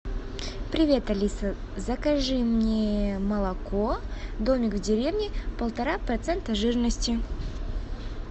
привет алиса закажи мне молоко домик в деревне полтора процента жирности